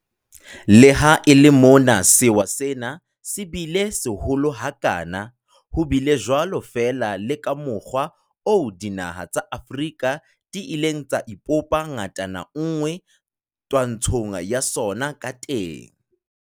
Le ha e le mona sewa sena se bile seholo ha kana, ho bile jwalo fela le ka mokgwa oo dinaha tsa Afrika di ileng tsa ipopa ngatana nngwe twantshong ya sona ka teng.